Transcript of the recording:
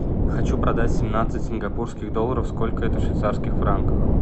хочу продать семнадцать сингапурских долларов сколько это в швейцарских франках